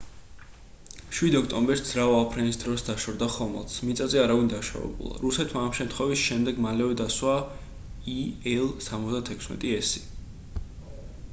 7 ოქტომბერს ძრავა აფრენის დროს დაშორდა ხომალდს მიწაზე არავინ დაშავებულა რუსეთმა ამ შემთხვევის შემდეგ მალევე დასვა il-76s